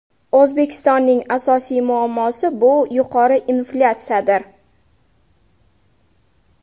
O‘zbekistonning asosiy muammosi bu yuqori inflyatsiyadir.